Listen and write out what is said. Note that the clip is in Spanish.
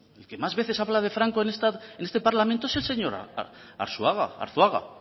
el que más veces habla de franco en este parlamento es el señor arzuaga